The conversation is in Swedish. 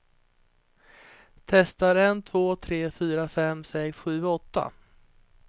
Testar en två tre fyra fem sex sju åtta.